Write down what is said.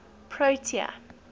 protea